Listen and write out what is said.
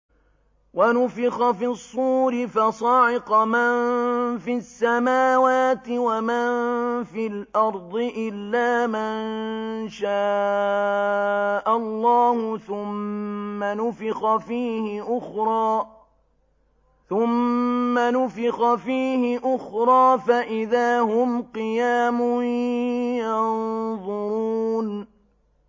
وَنُفِخَ فِي الصُّورِ فَصَعِقَ مَن فِي السَّمَاوَاتِ وَمَن فِي الْأَرْضِ إِلَّا مَن شَاءَ اللَّهُ ۖ ثُمَّ نُفِخَ فِيهِ أُخْرَىٰ فَإِذَا هُمْ قِيَامٌ يَنظُرُونَ